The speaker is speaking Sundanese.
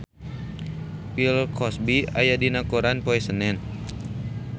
Bill Cosby aya dina koran poe Senen